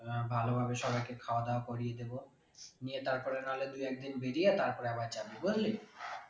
ভালো ভাবে সবাই কে খাওয়া দাওয়া করিয়ে দেব, নিয়ে তারপরে নাহলে দু একদিন বেরিয়ে তারপরে আবার যাবি বুঝলি।